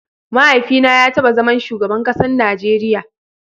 Mahaifi na ya taba zaman shugaban kasan Najeria.